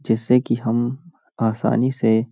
जैसे की हम आसानी से --